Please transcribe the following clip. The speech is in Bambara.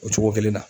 O cogo kelen na